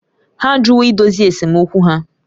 Ha ajụwo idozi esemokwu ha